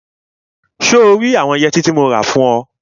So rí àwọn yẹtí tí mo rà fún ọ?